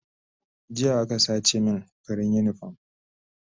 Jiya aka sace min farin unipom